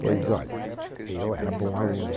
Pois, olha, eu era bom aluno.